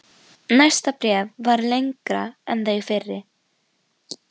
Næsta bréf var lengra en þau fyrri.